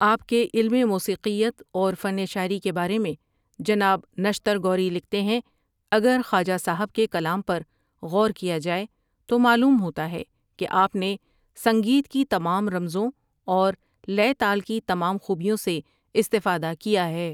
آپ کے علم موسیقیت اور فن شاعری کے بارے میں جناب نشتر گوری لکھتے ہیں اگر خواجہ صاحب کے کلام پر غور کیا جائے تو معلوم ہوتا ہے کہ آۤپ نے سنگیت کی تمام رمزوں اور لے تال کی تمام خوبیوں سے استفادہ کیا ہے ۔